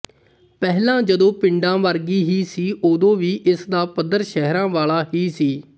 ਪਹਿਲਾਂ ਜਦੋਂ ਪਿੰਡਾਂ ਵਰਗੀ ਹੀ ਸੀ ਓਦੋਂ ਵੀ ਇਸ ਦਾ ਪੱਧਰ ਸ਼ਹਿਰਾਂ ਵਾਲਾ ਹੀ ਸੀ